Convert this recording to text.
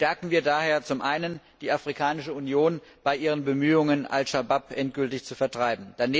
Stärken wir daher zum einen die Afrikanische Union bei ihren Bemühungen, Al Shabab endgültig zu vertreiben!